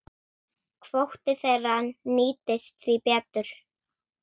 Kvóti þeirra nýtist því betur.